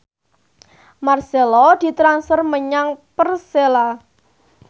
marcelo ditransfer menyang Persela